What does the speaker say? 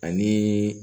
Ani